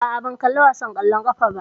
Aa, ban kalla wasan ƙwallon ƙafa ba